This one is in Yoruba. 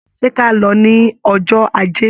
Ṣé ka lọ ní ọjọ́ Ajé?